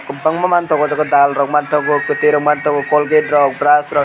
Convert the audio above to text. kwbangma manthogo oh jaga dalrok manthogo kwtwirok manthogo colgate rok brush rok.